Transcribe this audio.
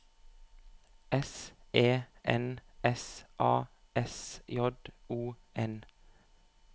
S E N S A S J O N